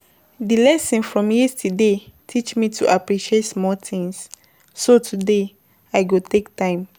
Di lesson from yesterday teach me to appreciate small things, so today, I go take time.